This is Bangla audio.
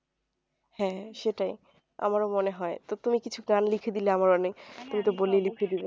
হ্যাঁ সেটাই আমারও মনে হয় তো তুমি কিছু গান লিখে দিলে আমার অনেক